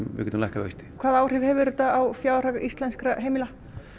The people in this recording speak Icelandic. við getum lækkað vexti hvaða áhrif hefur þetta á fjárhag íslenskra heimila